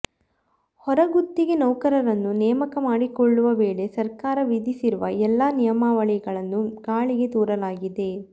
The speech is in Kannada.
ಹೊರಗುತ್ತಿಗೆ ನೌಕರರನ್ನು ನೇಮಕ ಮಾಡಿಕೊಳ್ಳುವ ವೇಳೆ ಸರ್ಕಾರ ವಿಧಿಸಿರುವ ಎಲ್ಲಾ ನಿಯಮಾವಳಿಗಳನ್ನು ಗಾಳಿಗೆ ತೂರಲಾಗಿದೆ